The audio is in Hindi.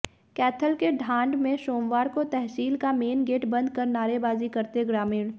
कैथल के ढांड में सोमवार को तहसील का मेन गेट बंद कर नारेबाजी करते ग्रामीण